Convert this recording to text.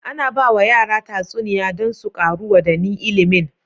Ana bawa yara tatsuniya dan su ƙaru wa dani ilimin